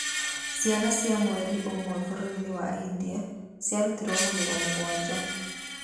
Ciana cia mweri ũmwe bũrũri-inĩ wa India ciarutirũo magego mũgwanja